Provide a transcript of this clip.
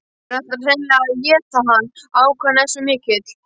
Hún ætlar hreinlega að éta hann, ákafinn er svo mikill.